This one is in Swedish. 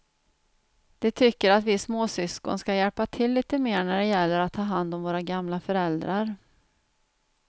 De tycker att vi småsyskon ska hjälpa till lite mer när det gäller att ta hand om våra gamla föräldrar.